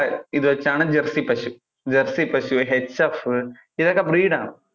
ഇത് വെച്ചാണ് ആണ് jersey പശു jersey ഇതൊക്കെ breed ആണ്